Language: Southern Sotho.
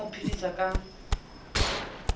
ne a mo phedisa ka